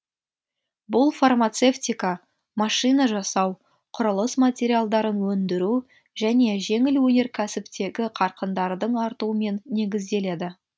бұл фармацевтика машина жасау құрылыс материалдарын өндіру және жеңіл өнеркәсіптегі қарқындардың артуымен негізделеді